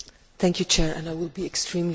I will be extremely brief